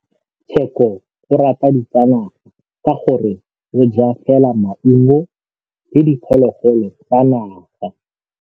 Tshekô o rata ditsanaga ka gore o ja fela maungo le diphologolo tsa naga.